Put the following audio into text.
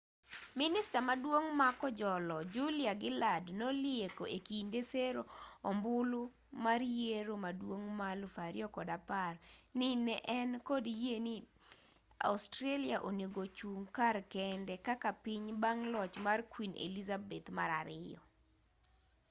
minista maduong' ma kojolo julia gillard nolieko e kinde sero ombulu mar yiero maduong' ma 2010 ni ne en kod yie ni ni australia onego chung kar kende kaka piny bang' loch mar queen elizabeth ii